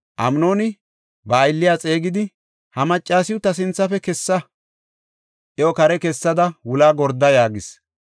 Amnooni ba aylliya xeegidi, “Ha maccasiw ta sinthafe kessa; iyo kare kessada wulaa gorda” yaagis.